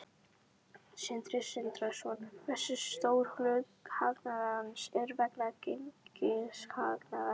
Sindri Sindrason: Hversu stór hluti hagnaðarins er vegna gengishagnaðar?